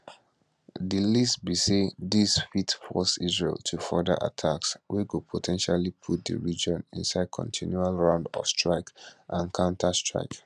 di least be say dis fit force israel to further attacks wey go po ten tially put di region inside continual round of strike and counterstrike